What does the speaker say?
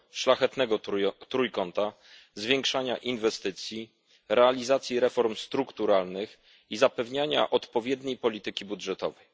szlachetnego trójkąta, zwiększania inwestycji, realizacji reform strukturalnych i zapewniania odpowiedniej polityki budżetowej.